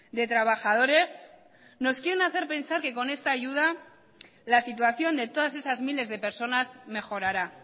de trabajadores nos quieren hacer pensar que con esta ayuda la situación de todas esas miles de personas mejorará